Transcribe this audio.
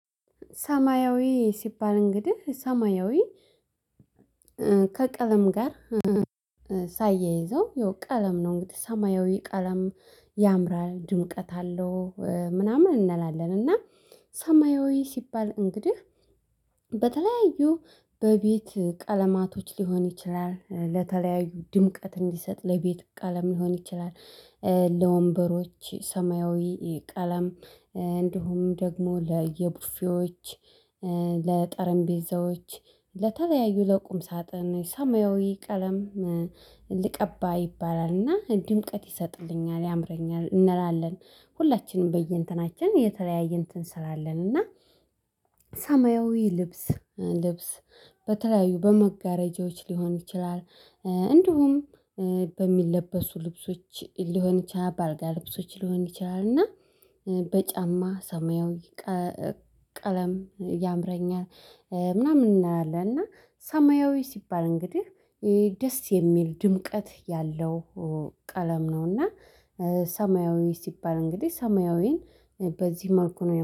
ሰማያዊ ሲባል እንግዲህ ሰማያዊ ከቀለም ጋር ሳያይዘው ያው ቀለም ነው እንግዲህ ሰማያዊ ቀለም ያምራል ድምቀት አለው። ምናምን እንላለን እና ሰማያዊ ሲባል እንግዲህ በተለያዩ በቤት ቀለማቶች ሊሆን ይችላል ለተለያዩ ድምቀት እንዲሰጥ ለቤት ቀለም ሊሆን ይችላል። ለወንበሮች ሰማያዊ ቀለም እንዲሁም ደግሞ ለየቡፌዎች ለጠረንቢዛዎች ለተለያዩ ለቁም ሳጥን ሰማያዊ ቀለም ይባላልና ድምቀት ይሰጥልኛል ያምረኛል። እንላለን ሁላችንም በየእንትናችን የተለያየ እንትን ስላለን እና ሰማያዊ ልብስ ልብስ በተለያዩ በመጋረጃዎች ሊሆን ይችላል። እንዲሁም በሚለበሱ ልብሶች ሊሆን ይችላል ባልጋ ልብሶች ሊሆን ይችላል እና በጫማ ሰማያዊ ቀለም ያምረኛል ምናምን እናላለን። እና ሰማያዊ ሲባል እንግዲህ ደስ የሚል ድምቀት ያለው ቀለም ነው። እና ሰማያዊ ሲባል እንግዲህ ሰማያዊን በዚህ መልኩ ነው